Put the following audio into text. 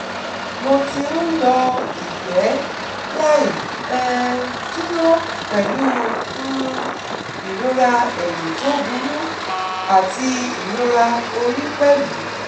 Mo ti ń yọ ìgbẹ́ láì um dúró pẹ̀lú um ìrora ẹ̀yìn tó burú àti ìrora orí pẹ̀lú